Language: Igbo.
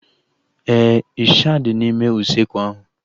Éè, ịsha dị n'ime usekwu ahu